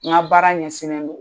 Nka baara ɲɛsinnen do.